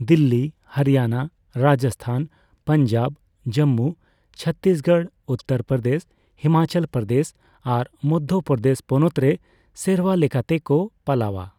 ᱫᱤᱞᱞᱤ, ᱦᱚᱨᱤᱭᱟᱱᱟ, ᱨᱟᱡᱚᱥᱥᱛᱷᱟᱱ, ᱯᱟᱧᱡᱟᱵᱽ, ᱡᱚᱢᱢᱩ, ᱪᱷᱚᱛᱛᱨᱤᱥᱜᱚᱲ, ᱩᱛᱛᱚᱨ ᱯᱨᱚᱫᱮᱹᱥ, ᱦᱤᱢᱟᱪᱚᱞ ᱯᱨᱚᱫᱮᱹᱥ ᱟᱨ ᱢᱚᱫᱽᱫᱷᱚᱯᱨᱚᱫᱮᱹᱥ ᱯᱚᱱᱚᱛ ᱨᱮ ᱥᱮᱨᱣᱟ ᱞᱮᱠᱟᱛᱮᱠᱚ ᱯᱟᱞᱟᱣᱟ ᱾